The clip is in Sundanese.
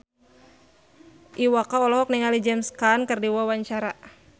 Iwa K olohok ningali James Caan keur diwawancara